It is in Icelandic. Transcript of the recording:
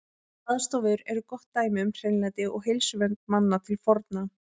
Baðstofur eru gott dæmi um hreinlæti og heilsuvernd manna til forna.